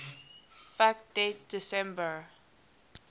fact date december